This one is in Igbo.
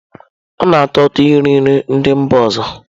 Ọ na-atọ ụtọ iri nri ndị mba ọzọ.